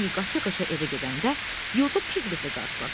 Vini qaça-qaça evə gedəndə yolda Piqletlə qarşılaşdı.